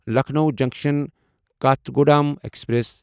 Lucknow junction Kathgodam express